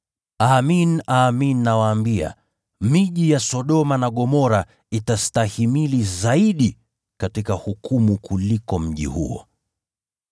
Amin, nawaambia, itakuwa rahisi zaidi kwa miji ya Sodoma na Gomora kustahimili katika hukumu kuliko mji huo.